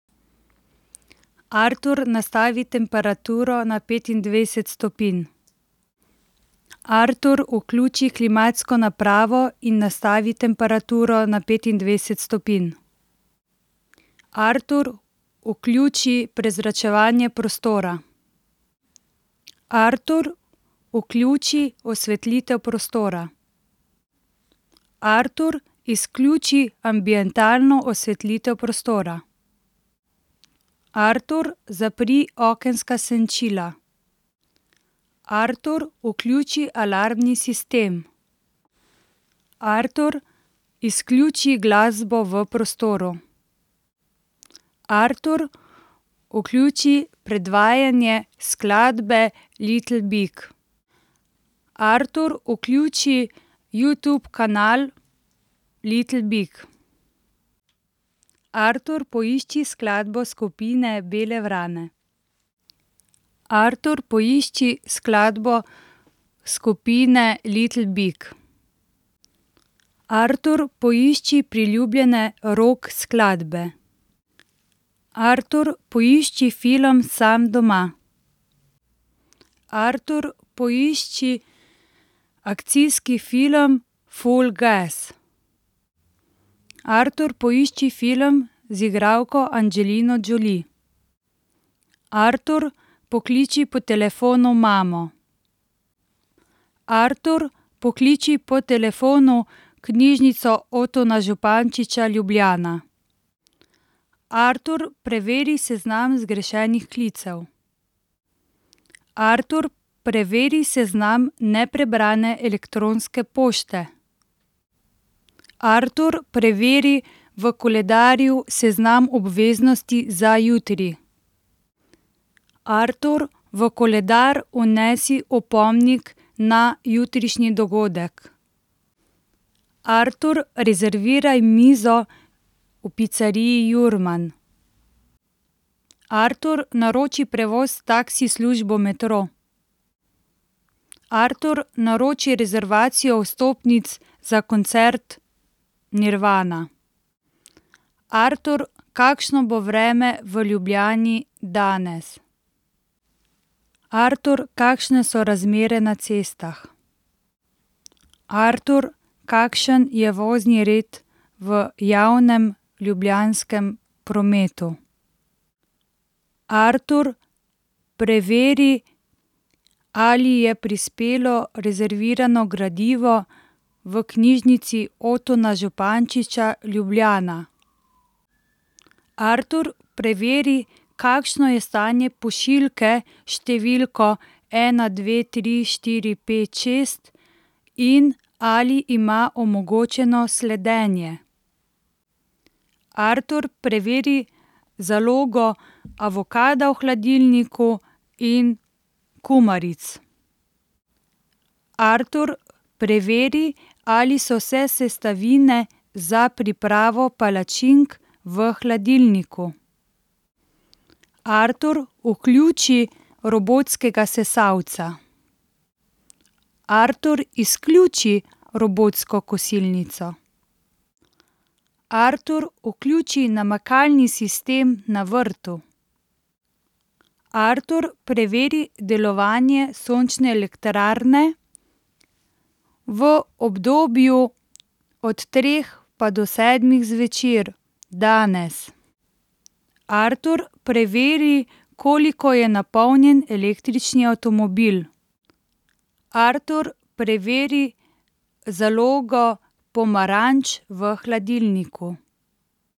Artur, nastavi temperaturo na petindvajset stopinj. Artur, vključi klimatsko napravo in nastavi temperaturo na petindvajset stopinj. Artur, vključi prezračevanje prostora. Artur, vključi osvetlitev prostora. Artur, izključi ambientalno osvetlitev prostora. Artur, zapri okenska senčila. Artur, vključi alarmni sistem. Artur, izključi glasbo v prostoru. Artur, vključi predvajanje skladbe Little Big. Artur, vključi Youtube kanal Little big. Artur, poišči skladbo skupine Bele vrane. Artur, poišči skladbo skupine Little big. Artur, poišči priljubljene rock skladbe. Artur, poišči film Sam doma. Artur, poišči akcijski film Full gas. Artur, poišči film z igralko Angelino Jolie. Artur, pokliči po telefonu mamo. Artur, pokliči po telefonu Knjižnico Otona Župančiča Ljubljana. Artur, preveri seznam zgrešenih klicev. Artur, preveri seznam neprebrane elektronske pošte. Artur, preveri v koledarju seznam obveznosti za jutri. Artur, v koledar vnesi opomnik na jutrišnji dogodek. Artur, rezerviraj mizo v piceriji Jurman. Artur, naroči prevoz taksi službo Metro. Artur, naroči rezervacijo vstopnic za koncert Nirvana. Artur, kakšno bo vreme v Ljubljani danes? Artur, kakšne so razmere na cestah? Artur, kakšen je vozni red v javnem ljubljanskem prometu? Artur, preveri, ali je prispelo rezervirano gradivo v Knjižnici Otona Župančiča Ljubljana. Artur, preveri, kakšno je stanje pošiljke s številko ena dve tri štiri pet šest in ali ima omogočeno sledenje. Artur, preveri zalogo avokada v hladilniku in kumaric. Artur, preveri, ali so vse sestavine za pripravo palačink v hladilniku. Artur, vključi robotskega sesalca. Artur, izključi robotsko kosilnico. Artur, vključi namakalni sistem na vrtu. Artur, preveri delovanje sončne elektrarne v obdobju od treh pa do sedmih zvečer danes. Artur, preveri, koliko je napolnjen električni avtomobil. Artur, preveri zalogo pomaranč v hladilniku.